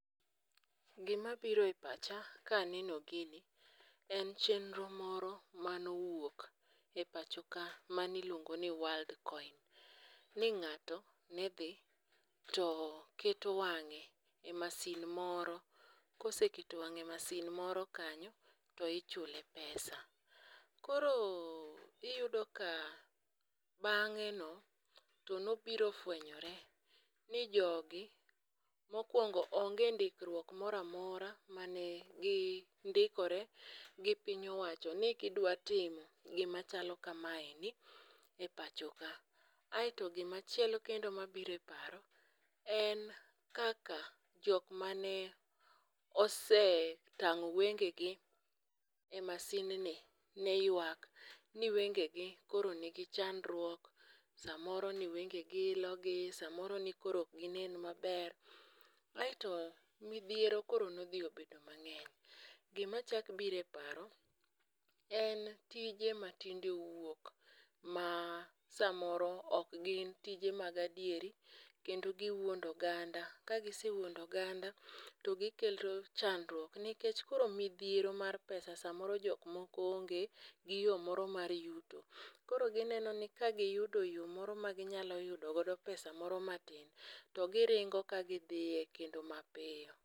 Gimabiro e pacha kaneno gini en chenro moro manowuok e pachoka maniluongo ni worldcoin. Ni ng'ato ne dhi to keto wang'e e masin moro koseketo wang'e e masin moro kanyo to ichule pesa, koro iyudo ka bang'eno to nobiro fwenyore ni jogi mokwongo onge ndikruok mora mora mane gindikore gi piny owacho ni gidwa timo gima chalo kamaeni e pacho ka, aeto gimachielo kendo mabiro e paro en kaka jok mane osetang'o wengegi e masinni ne ywak ni wengegi koro nigi chandruok, samoro ni wengegi ni ilogi, samoro ni koro ok ginen maber. Aeto midhiero koro nodhi obedo mang'eny. Gimachako biro e paro en tije matinde owuok ma samoro ok gin tije mag adieri kendo giwuondo oganda, kagisewuondo oganda to gikelo chandruok nikech koro midhiero mar pesa samoro jok moko onge gi yo mar yuto, koro gineno ni kagiyudo yo moro maginyalo yudo godo pesa moro matin, to giringo ka gidhie kendo mapiyo.